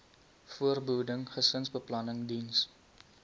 voorbehoeding gesinsbeplanning diens